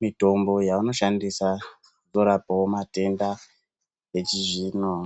mitombo yavanotoshandisa kurape matenda achizvinwa .